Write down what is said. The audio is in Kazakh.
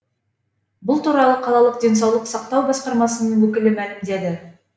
бұл туралы қалалық денсаулық сақтау басқармасының өкілі мәлімдеді